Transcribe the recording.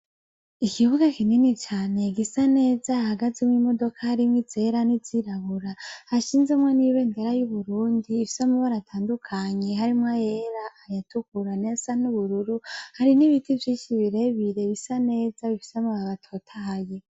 Ikibuga kinini cane igisa neza hagazimwo imodoka harimwo zera n'izirabura hashinzemwo n'ibentera y'uburundi ifsamubo aratandukanyi harimwo yera ayatugura nesa ni'ubururu hari n'ibiti vyinshi birebire bisa neza ifisamu babatotahye.